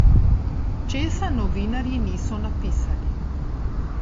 Česa novinarji niso napisali?